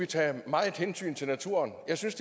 tage meget hensyn til naturen jeg synes